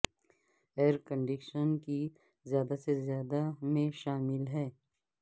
year conditioning کی زیادہ سے زیادہ میں شامل ہے